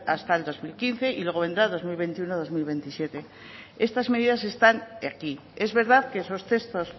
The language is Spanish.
hasta el dos mil quince y luego vendrá el dos mil veintiuno dos mil veintisiete esta medidas están aquí es verdad que estos textos